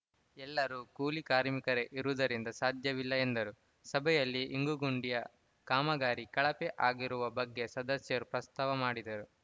ಎಲ್ಲರೂ ಕೂಲಿ ಕಾರ್ಮಿಕರೇ ಇರುವುದರಿಂದ ಸಾಧ್ಯವಿಲ್ಲ ಎಂದರು ಸಭೆಯಲ್ಲಿ ಇಂಗುಗುಂಡಿಯ ಕಾಮಗಾರಿ ಕಳಪೆ ಆಗಿರುವ ಬಗ್ಗೆ ಸದಸ್ಯರು ಪ್ರಸ್ತಾವ ಮಾಡಿದರು